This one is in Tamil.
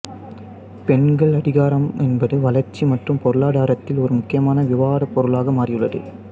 பெண்கள் அதிகாரம் என்பது வளர்ச்சி மற்றும் பொருளாதாரத்தில் ஒரு முக்கியமான விவாதப் பொருளாக மாறியுள்ளது